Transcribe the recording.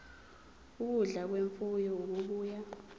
ukudla kwemfuyo okubuya